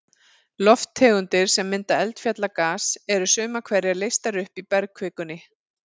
Lofttegundir sem mynda eldfjallagas, eru sumar hverjar leystar upp í bergkvikunni.